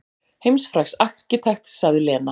Heimsfrægs arkitekts sagði Lena.